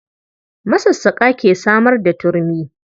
Masassaƙa ke samar da turmi.